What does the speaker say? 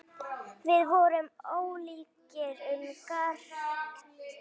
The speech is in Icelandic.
Við vorum ólíkir um margt.